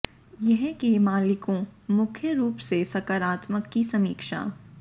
यह के मालिकों मुख्य रूप से सकारात्मक की समीक्षा